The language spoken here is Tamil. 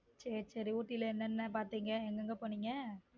சேரி சேரி ஊட்டியில் என்னென்ன பார்த்தீங்க எங்க எங்க போனீங்க.